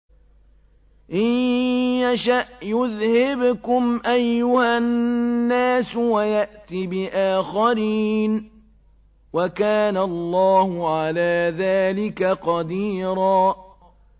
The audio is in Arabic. إِن يَشَأْ يُذْهِبْكُمْ أَيُّهَا النَّاسُ وَيَأْتِ بِآخَرِينَ ۚ وَكَانَ اللَّهُ عَلَىٰ ذَٰلِكَ قَدِيرًا